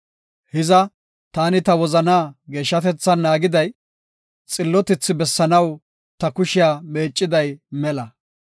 Hiza taani ta wozanaa geeshshatethan naagiday, xillotethi bessanaw ta kushiya meecetiday mela.